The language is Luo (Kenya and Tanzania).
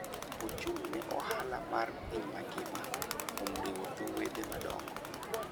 Ochung' ne ohala mar piny mangima kuom riwo dho wedhe madongo.